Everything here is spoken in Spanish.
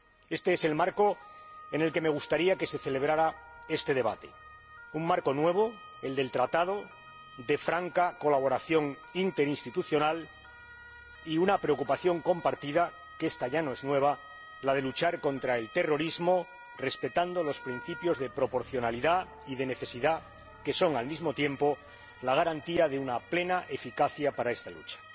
Este es el marco en el que me gustaría que se celebrara este debate, un marco nuevo —el del Tratado— de franca colaboración interinstitucional, y una preocupación compartida, que esta ya no es nueva la de luchar contra el terrorismo respetando los principios de proporcionalidad y de necesidad, que son al mismo tiempo la garantía de una plena eficacia para esta lucha.